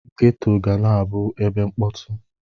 Geto ga na-abụ ebe mkpọtụ.